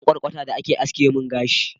na samu kwarkwata da aka haske mun gashi